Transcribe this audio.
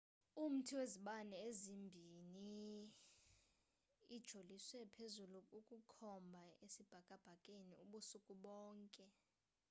umthai wezibane ezimbiniuijoliswe phezulu ukukhomba esibhakabhakeni ubusuku bonke